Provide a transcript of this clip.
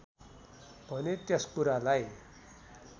भने त्यस कुरालाई